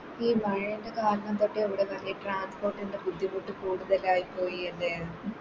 ഈ മഴേൻറെത് കാരണം തൊട്ട് ഇവിടെ മറ്റെ Transport ൻറെ ബുദ്ധിമുട്ട് കൂടുതലായി പോയി അല്ലെ